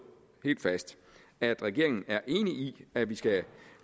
fast at regeringen er enig i at vi skal